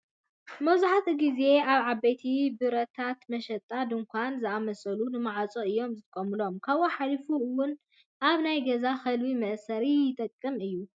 መብዛሕቲኡ ግዜ ኣብ ዓበይቲ በርታትን መሸጣ ድካናትን ዝኣመሳሰሉ ንምዕፃው እዮም ዝጥቀምሉ ካብኡ ሓሉፉ እውን ኣብ ናይ ገዛ ከልቢ መእሰሪ ይጠቅም እዩ።